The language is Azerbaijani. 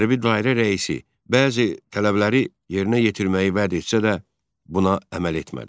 Hərbi dairə rəisi bəzi tələbləri yerinə yetirməyi vəd etsə də, buna əməl etmədi.